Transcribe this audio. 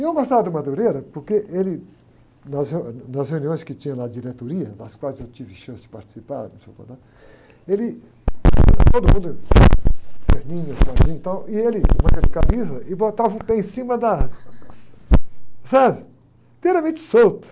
E eu não gostava do, porque ele, nas reu, nas reuniões que tinha na diretoria, nas quais eu tive chance de participar, né? Ele, ãh, todo mundo, terninho, quadradinho e tal, e ele, em manga de camisa e botava o pé em cima da, sabe? Inteiramente solto.